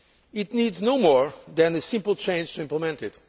need. It needs no more than a simple change to implement